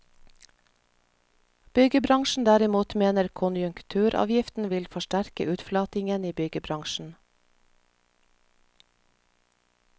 Byggebransjen derimot mener konjunkturavgiften vil forsterke utflatingen i byggebransjen.